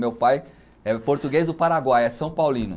Meu pai é português do Paraguai, é São Paulino.